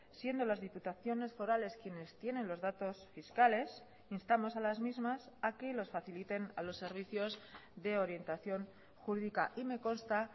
siendo las diputaciones forales quienes tienen los datos fiscales instamos a las mismas a que los faciliten a los servicios de orientación jurídica y me consta